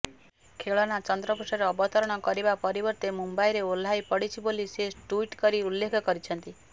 ଖେଳନା ଚନ୍ଦ୍ରପୃଷ୍ଠରେ ଅବତରଣ କରିବା ପରିବର୍ତ୍ତେ ମୁମ୍ବାଇରେ ଓହ୍ଲାଇ ପଡ଼ିଛି ବୋଲି ସେ ଟ୍ବିଟ୍ କରି ଉଲ୍ଲେଖ କରିଛନ୍ତି